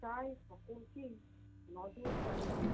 প্রায় সকলকেই নজরদারীতে